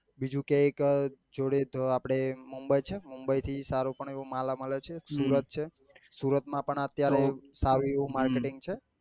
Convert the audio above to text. બીજું તો એક જોડે તો આપડે mumbai છે mumbai થી સારો પણ એવો માલ મળે છે સુરત છે સુરત માં પણ અત્યારે સારું એવું marketing છે